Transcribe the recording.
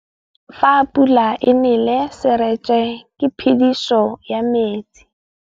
Fa pula e nelê serêtsê ke phêdisô ya metsi.